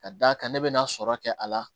Ka d'a kan ne bɛ na sɔrɔ kɛ a la